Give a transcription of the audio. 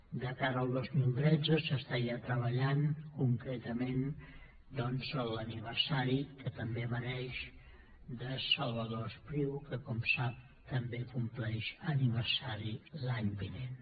de cara al dos mil tretze s’està ja treballant concretament doncs l’aniversari que també mereix de salvador espriu que com sap també compleix aniversari l’any vinent